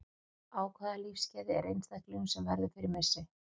Á hvaða lífsskeiði er einstaklingurinn sem verður fyrir missi?